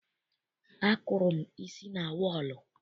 Akụrụ m isi na wọọlụ.